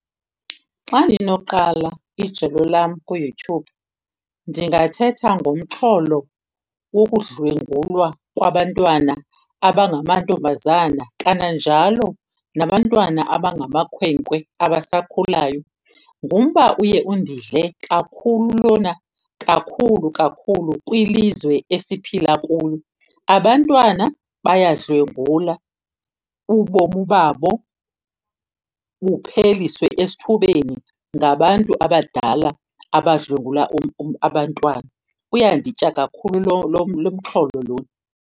Xa ndinoqala ijelo lam kuYouTube ndingathetha ngomxholo wokudlwengulwa kwabantwana abangamantombazana kananjalo nabantwana abangamakhwenkwe abasakhulayo. Ngumba uye undidle kakhulu lona kakhulu kakhulu kwilizwe esiphila kulo. Abantwana bayadlwengulwa ubomi babo bupheleliswe esithubeni ngabantu abadala abadlwengula abantwana. Uyanditya kakhulu lo lo lo mxholo lona.